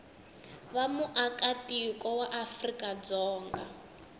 va muaka tiko wa afrikadzonga